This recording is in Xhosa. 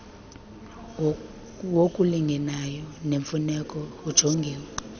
wokulingeneyo nemfuneko ujongiwe